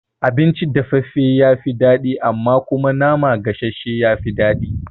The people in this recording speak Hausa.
Abinci dafaffafe ya fi daɗi amma kuma nama gasashshe ya fi daɗi